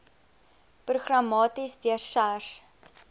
programmaties deur sars